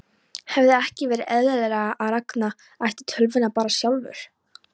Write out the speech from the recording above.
Hefði ekki verið eðlilegra að Ragnar ætti tölvuna bara sjálfur?